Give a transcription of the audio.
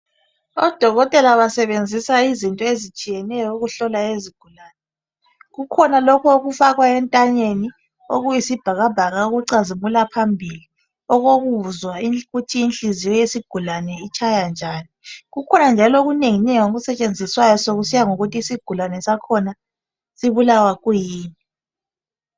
Odokotela basebenzisa izinto ezitshiyeneyo ukuhlola izigulane. Kukhona lokhu okufakwa entanyeni okuyisibhakabhaka